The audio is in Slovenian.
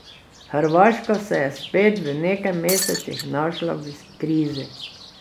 Hrvaška se je spet, v nekaj mesecih, znašla v krizi.